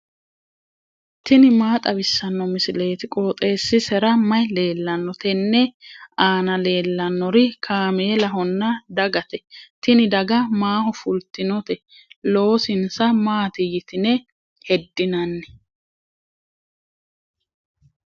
tini maa xawissanno misileeti? qooxeessisera may leellanno? tenne aana leellannori kaameelahonna dagate. tini daga maaho fultinote? loosinsa maati yitine heddinanni?